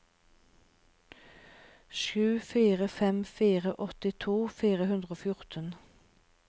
sju fire fem fire åttito fire hundre og fjorten